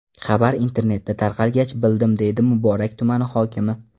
Xabar internetda tarqalgach, bildim”, deydi Muborak tumani hokimi.